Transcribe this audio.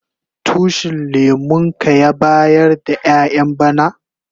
Tushin lemun ka ya bayar da ƴayan bana?